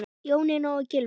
Jónína og Gylfi.